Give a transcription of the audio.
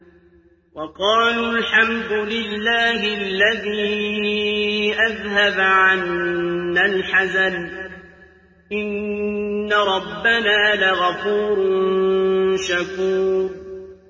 وَقَالُوا الْحَمْدُ لِلَّهِ الَّذِي أَذْهَبَ عَنَّا الْحَزَنَ ۖ إِنَّ رَبَّنَا لَغَفُورٌ شَكُورٌ